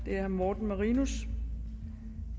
herre morten marinus